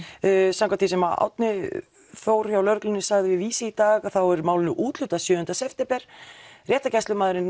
samkvæmt því sem Árni Þór hjá lögreglunni sagði við Vísi í dag þá er málinu úthlutað sjöunda september réttargæslumaðurinn